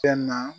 Fɛn na